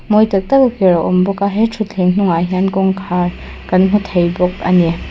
mawi tak tak a ker a awm bawk a he thutthleng hnungah hian kawngkhar kan hmu thei bawk a ni.